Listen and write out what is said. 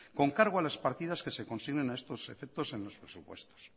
con cargo a las partidas que se consignen a estos efectos en los presupuestos